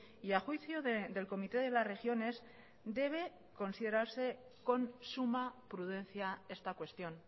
y a juicio del comité de las regiones debe considerarse con suma prudencia esta cuestión